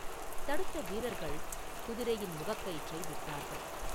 தடுத்த வீரர்கள் குதிரையின் முகக்கயிற்றை விட்டார்கள்.